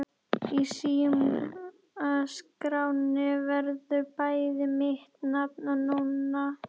Í símaskránni verður bæði mitt nafn og Nonna.